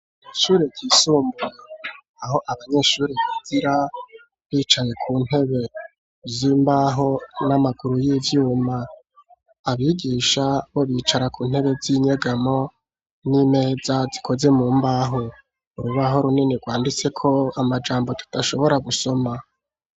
Ishure ryisumbuye aho abanyeshuri biga bicaye ku ntebe z'imbaho n'amaguru y'ivyuma abigisha bo bicara ku ntebe z'inyegamo n'imeza zikoze mu mbaho urubaho runini rwanditseko amajambo tutashobora gusoma